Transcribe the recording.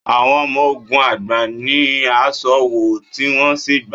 Awon Omo ogun agba ni aṣọ wọ, ti wọn si gba